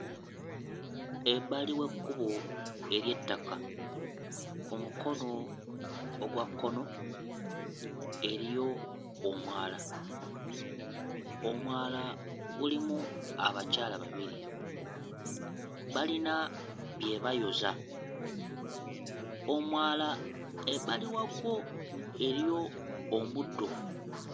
Ebbali w'ekkubo ery'ettaka. Ku mukono ogwa kkono eriyo omwala; omwala gulimu abakyala babiri, balina bye bayoza. Omwala ebbali waagwo eriyo omuddo.